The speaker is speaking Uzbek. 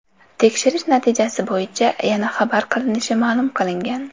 Tekshirish natijasi bo‘yicha yana xabar qilinishi ma’lum qilingan.